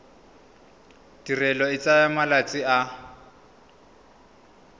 tirelo e tsaya malatsi a